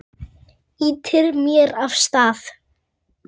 Ýtir mér af stað.